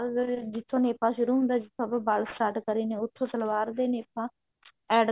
ਅਗਰ ਜਿੱਥੋਂ ਨੇਫਾ ਸ਼ੁਰੂ ਹੁੰਦਾ ਉੱਥੋਂ ਆਪਾਂ ਵਲ start ਕਰੇ ਨੇ ਉੱਥੋਂ ਸਲਵਾਰ ਦਾ ਨੇਫਾ add